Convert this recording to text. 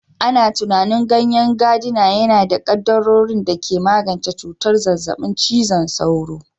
Ana tunanin ganyen gadina yana da kaddarorin da ke magance cutar zazzabin cizon sauro